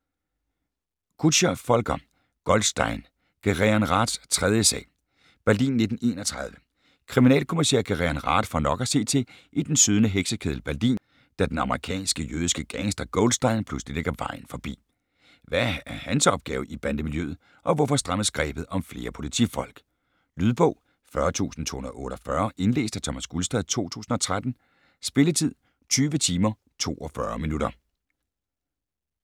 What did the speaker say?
Kutscher, Volker: Goldstein: Gereon Raths tredje sag Berlin 1931. Kriminalkommissær Gereon Rath får nok at se til i den sydende heksekeddel Berlin, da den amerikanske jødiske gangster Goldstein pludselig lægger vejen forbi. Hvad er hans opgave i bandemiljøet, og hvorfor strammes grebet om flere politifolk. Lydbog 40248 Indlæst af Thomas Gulstad, 2013. Spilletid: 20 timer, 42 minutter.